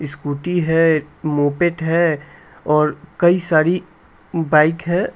Scooty है एक moped है और कई सारी बाइक है।